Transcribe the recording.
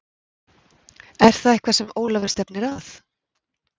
Er það eitthvað sem Ólafur stefnir að?